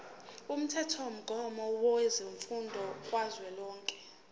umthethomgomo wemfundo kazwelonke